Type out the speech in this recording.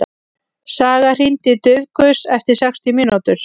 Saga, hringdu í Dufgus eftir sextíu mínútur.